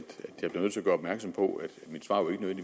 gøre opmærksom på at